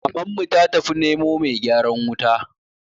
Mamanmu ta tafi nemo mai gyaran wuta